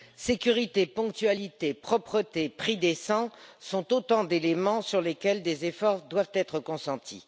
Sécurité, ponctualité, propreté, prix décents sont autant d'éléments sur lesquels des efforts doivent être consentis.